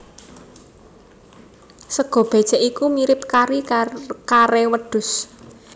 Sega bécèk iku mirip kari kare wedhus